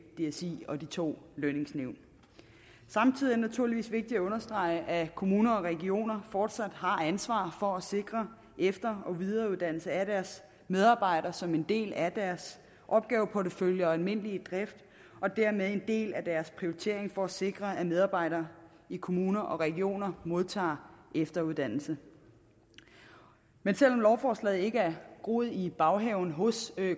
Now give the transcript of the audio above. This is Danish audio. dsi og de to lønningsnævn samtidig er det naturligvis vigtigt at understrege at kommuner og regioner fortsat har ansvaret for at sikre efter og videreuddannelse af deres medarbejdere som er en del af deres opgaveportefølje og almindelige drift og dermed en del af deres prioritering for at sikre at medarbejdere i kommuner og regioner modtager efteruddannelse men selv om lovforslaget ikke er groet i baghaven hos